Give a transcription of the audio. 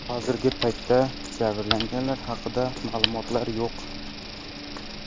Hozirgi paytda jabrlanganlar haqida ma’lumotlar yo‘q.